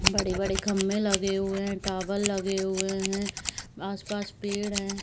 बड़े बड़े खंबे लगे हुए हैं | टावर लगे हुए हैं | आस-पास पेड़ है ।